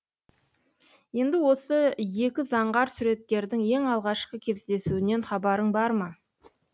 енді осы екі заңғар суреткердің ең алғашқы кездесуінен хабарың бар ма